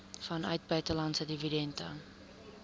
vanuit buitelandse dividende